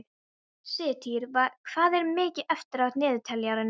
Sigtýr, hvað er mikið eftir af niðurteljaranum?